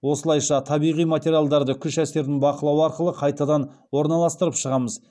осылайша табиғи материалдарды күш әсерін бақылау арқылы қайтадан орналастырып шығамыз